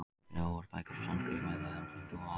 Skrifaðar voru bækur á sanskrít meðal hindúa á Indlandi.